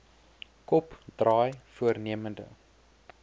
kop draai voornemende